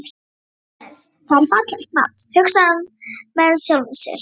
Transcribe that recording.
Agnes, það er fallegt nafn, hugsar hann með sjálfum sér.